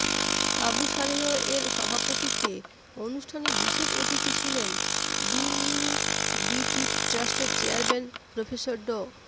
আবু সালেহ এর সভাপতিত্বে অনুষ্ঠানে বিশেষ অতিথি ছিলেন বিইউবিটি ট্রাস্টের চেয়ারম্যান প্রফেসর ড